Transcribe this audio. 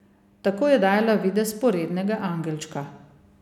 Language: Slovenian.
Tako je dajala videz porednega angelčka.